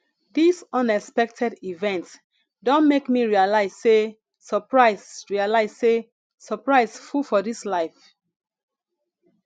dis unexpected event don make me realize sey surprise realize sey surprise full for dis life